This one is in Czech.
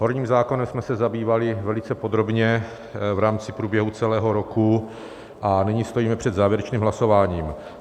Horním zákonem jsme se zabývali velice podrobně v rámci průběhu celého roku a nyní stojíme před závěrečným hlasováním.